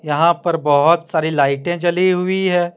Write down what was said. यहां पर बहुत सारी लाइटें जली हुई है।